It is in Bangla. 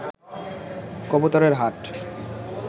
কবুতরের হাট